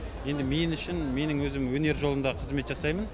енді мен үшін менің өзім өнер жолында қызмет жасаймын